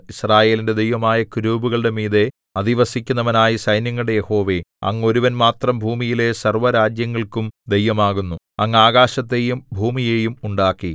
യിസ്രായേലിന്റെ ദൈവമായ കെരൂബുകളുടെ മീതെ അധിവസിക്കുന്നവനായ സൈന്യങ്ങളുടെ യഹോവേ അങ്ങ് ഒരുവൻ മാത്രം ഭൂമിയിലെ സർവ്വരാജ്യങ്ങൾക്കും ദൈവമാകുന്നു അങ്ങ് ആകാശത്തെയും ഭൂമിയെയും ഉണ്ടാക്കി